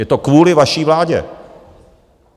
Je to kvůli vaší vládě!